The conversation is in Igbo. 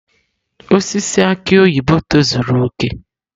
Osisi aki oyibo tozuru oke.